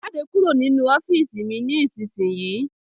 Jáde kúrò nínu ọ́fììisí mí ní isísìnyíí!